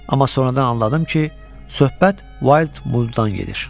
Amma sonradan anladım ki, söhbət Wild Muldan gedir.